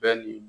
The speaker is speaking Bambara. Bɛɛ ni